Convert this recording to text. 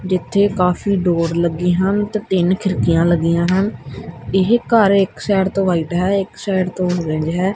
ਜਿੱਥੇ ਕਾਫੀ ਡੋਰ ਲੱਗੇ ਹਨ ਤੇ ਤਿੰਨ ਖਿੜਕੀਆਂ ਲੱਗੀਆਂ ਹਨ ਇਹ ਘਰ ਇੱਕ ਸਾਈਡ ਤੋਂ ਵਾਈਟ ਹੈ ਇੱਕ ਸਾਈਡ ਤੋਂ ਓਰੇਂਜ ਹੈ।